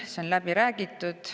See on läbi räägitud.